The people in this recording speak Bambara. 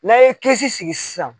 N'a ye kɛsi sigi sisan.